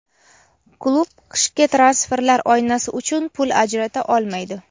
klub qishki transferlar oynasi uchun pul ajrata olmaydi.